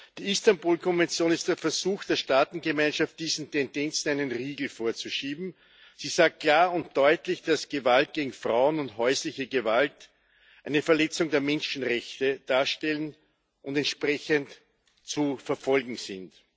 Die Istanbul Konvention ist der Versuch der Staatengemeinschaft, diesen Tendenzen einen Riegel vorzuschieben Sie sagt klar und deutlich, dass Gewalt gegen Frauen und häusliche Gewalt eine Verletzung der Menschenrechte darstellen und entsprechend zu verfolgen sind.